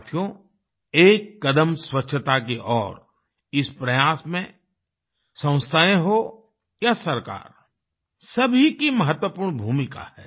साथियो एक कदम स्वच्छता की ओर इस प्रयास में संस्थाएँ हो या सरकार सभी की महत्वपूर्ण भूमिका है